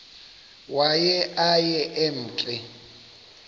waye aye emke